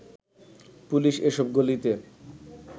police এ সব গলিতে